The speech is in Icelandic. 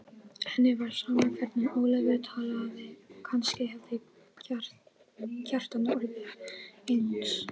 Henni var sama hvernig Ólafur talaði og kannski hefði Kjartan orðið eins.